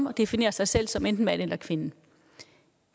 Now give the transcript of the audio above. og definere sig selv som enten mand eller kvinde